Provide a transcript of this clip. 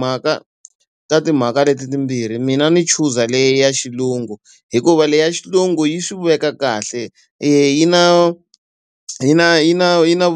mhaka ta timhaka leti timbirhi mina ni chuza leyi ya xilungu hikuva leyi ya xilungu yi swi veka kahle, yi na yi na yi na yi na